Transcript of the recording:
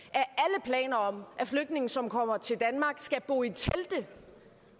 og om at flygtninge som kommer til danmark skal bo i telte